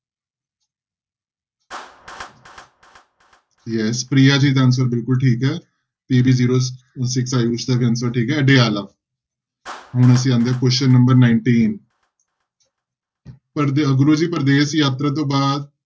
Yes Priya ji ਦਾ answer ਬਿਲਕੁਲ ਠੀਕ ਹੈ ਦਾ ਵੀ answer ਠੀਕ ਹੈ ਹੁਣ ਅਸੀਂ ਆਉਂਦੇ ਹਾਂਂ question number nineteen ਪ੍ਰਦੇਸ਼ ਯਾਤਰਾ ਤੋਂ ਬਾਅਦ